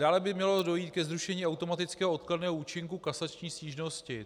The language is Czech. Dále by mělo dojít ke zrušení automatického odkladného účinku kasační stížnosti.